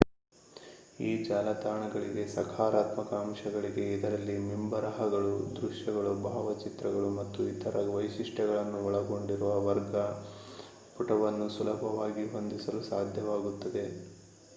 ಈ ಜಾಲತಾಣಗಳಿಗೆ ಸಕಾರಾತ್ಮಕ ಅಂಶಗಳಿವೆ ಇದರಲ್ಲಿ ಮಿಂಬರಹಗಳು ದೃಶ್ಯಗಳು ಭಾವಚಿತ್ರಗಳು ಮತ್ತು ಇತರ ವೈಶಿಷ್ಟ್ಯಗಳನ್ನು ಒಳಗೊಂಡಿರುವ ವರ್ಗ ಪುಟವನ್ನು ಸುಲಭವಾಗಿ ಹೊಂದಿಸಲು ಸಾಧ್ಯವಾಗುತ್ತದೆ